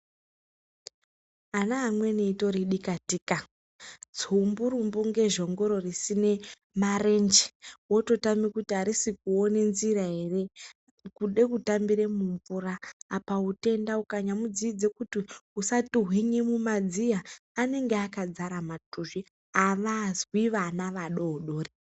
Ana amweni itori dikatika, tsumburumbu kunge zhongoro risine marenje wototame kuti arisikuone nzira ere kude kutambire mumvura apa utenda ukanyamudzidze kuti usatuhwine mumadziya anenge akadzara matuzvi avazwi vana vadoodori.